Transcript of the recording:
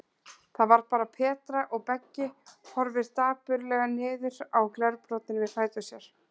Það var bara Petra, og Beggi horfir dapurlega niður á glerbrotin við fætur sér.